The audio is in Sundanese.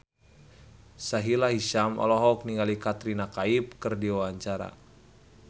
Sahila Hisyam olohok ningali Katrina Kaif keur diwawancara